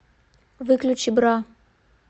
выключи бра